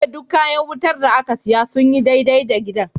Ya ce duk kayan wutar da aka siya sun yi dai-dai da gidan.